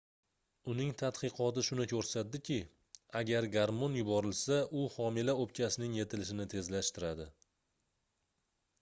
uning tadqiqoti shuni koʻrsatdiki agar garmon yuborilsa u homila oʻpkasining yetilishini tezlashtiradi